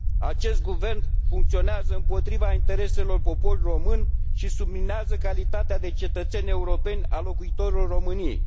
Acest guvern funcționează împotriva intereselor poporului român și subminează calitatea de cetățeni europeni a locuitorilor României.